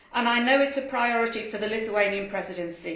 I know it is a priority for the Lithuanian Presidency.